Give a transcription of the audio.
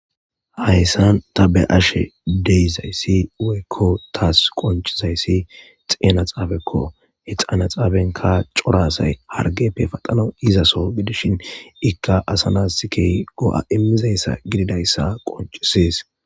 Hayssan ta be7ashe deyzayssi woykko taas qoncizayssi xeena xaabekko he xaana xaabenka corasay hargeppe paxano izaso gidishin ikka asana sikey go7a immizayssa gididayssa qoncisies.